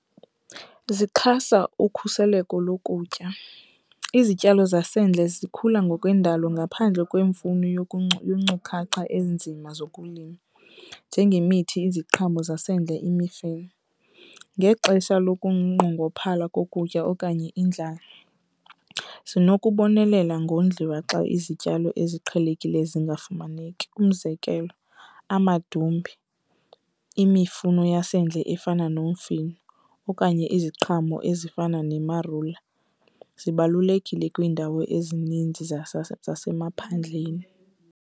Zixhasa ukhuseleko lokutya. Izityalo zasendle zikhula ngokwendalo ngaphandle kwemfuno yeenkcukacha ezinzima zokulima, njengemithi, iziqhamo zasendle, imifino. Ngexesha lokunqongophala kokutya okanye indlala zinokubonelela ngondliwa xa izityalo eziqhelekileyo zingafumaneki. Umzekelo, amadumbe, imifuno yasendle efana nomfino okanye iziqhamo ezifana ne-marula zibalulekile kwiindawo ezininzi zasemaphandleni.